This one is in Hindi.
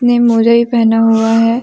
ने मोजा भी पहना हुआ है।